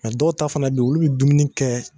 Mɛ dɔw ta fana be yen olu bi dumuni kɛ